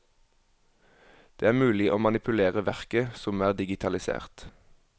Det er mulig å manipulere verket som er digitalisert.